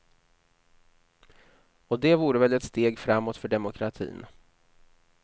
Och det vore väl ett steg framåt för demokratin.